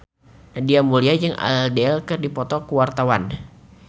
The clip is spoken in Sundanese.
Nadia Mulya jeung Adele keur dipoto ku wartawan